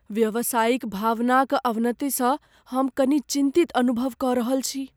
व्यावसायिक भावना क अवनति सँ हम कनि चिन्तित अनुभव क रहल छी।